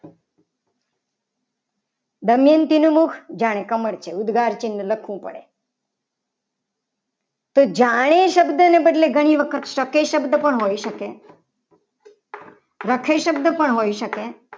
દમયંતી નું મુખ જાણે કમળ છે. ઉદગાર ચિન્હ લખવું પડે. તો જાણે શબ્દને બદલે ઘણી વખત શકે શબ્દ પણ હોઈ શકે લખે શબ્દ પણ હોઈ શકે.